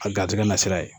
A garisigɛ na sira ye